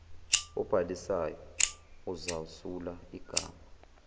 obhalisayo uzawusula igama